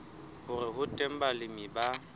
hore ho teng balemi ba